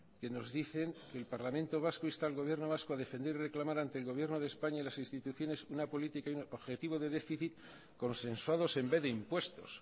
que nos dicen el parlamento vasco insta al gobierno vasco a defender y reclamar ante el gobierno de españa y las instituciones una política objetiva de déficit consensuados en vez de impuestos